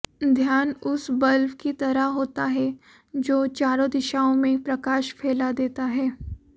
ध्यान उस बल्ब की तरह होता है जो चारों दिशाओं में प्रकाश फैला देता है